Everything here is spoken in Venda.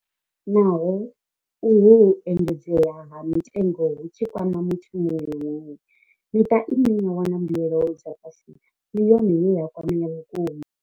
Naho uhu u engedzea ha mitengo hu tshi kwama muthu muṅwe na muṅwe, miṱa ine ya wana mbuelo dza fhasi ndi yone ye ya kwamea vhukuma.